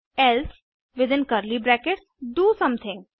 else within curly brackets do something